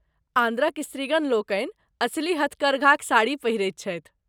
आंध्रक स्त्रीगण लोकनि असली हथकरघाक साड़ी पहिरैत छथि।